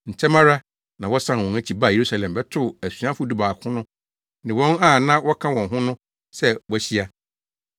Ntɛm ara na wɔsan wɔn akyi baa Yerusalem bɛtoo asuafo dubaako no ne wɔn a na wɔka wɔn ho no sɛ wɔahyia.